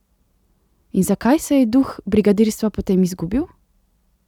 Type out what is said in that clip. In zakaj se je duh brigadirstva potem izgubil?